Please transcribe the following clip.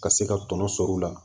Ka se ka tɔnɔ sɔrɔ u la